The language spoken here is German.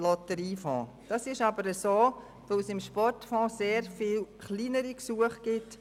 Dem ist so, weil es über den Sportfonds sehr viele kleinere Gesuche gibt.